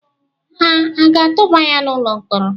Ha aga-atụba ya n’ụlọ mkpọrọ?